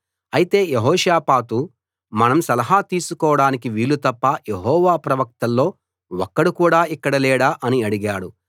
అయితే యెహోషాపాతు మనం సలహా తీసుకోడానికి వీళ్ళు తప్ప యెహోవా ప్రవక్తల్లో ఒక్కడు కూడా ఇక్కడ లేడా అని అడిగాడు